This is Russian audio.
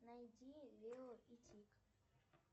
найди лео и тиг